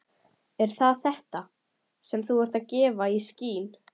Er það þetta, sem þú ert að gefa í skyn?